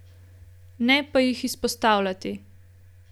Ne pa jih izpostavljati.